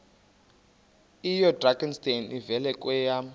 oyidrakenstein uvele kwema